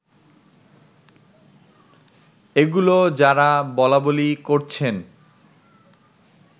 এগুলো যারা বলাবলি করছেন